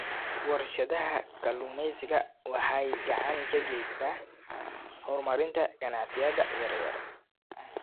Warshadaha kalluumeysiga waxay gacan ka geystaan ??horumarinta ganacsiyada yaryar.